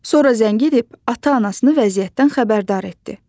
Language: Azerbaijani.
Sonra zəng edib ata-anasını vəziyyətdən xəbərdar etdi.